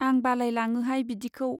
आं बालाय लाङोहाय बिदिखौ।